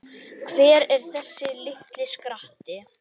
Hver er þessi litli skratti?